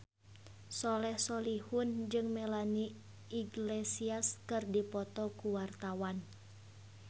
Soleh Solihun jeung Melanie Iglesias keur dipoto ku wartawan